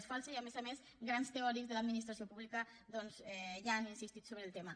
és fals i a més a més grans teòrics de l’administració pública doncs ja han insistit sobre el tema